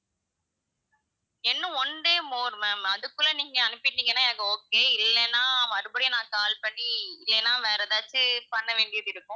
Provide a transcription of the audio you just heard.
இன்னும் one day more ma'am அதுக்குள்ள நீங்க அனுப்பிட்டீங்கன்னா எனக்கு okay இல்லைன்னா மறுபடியும் நான் call பண்ணி, இல்லைன்னா வேற எதாச்சும் பண்ண வேண்டியது இருக்கும்.